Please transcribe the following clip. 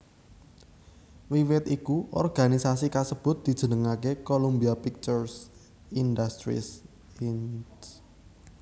Wiwit iku organisasi kasebut dijenengké Columbia Pictures Industries Inc